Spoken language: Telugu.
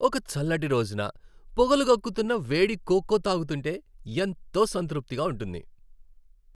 ఒక చల్లటి రోజున పొగలు గక్కుతున్న వేడి కోకో తాగుతుంటే ఎంతో సంతృప్తిగా ఉంటుంది.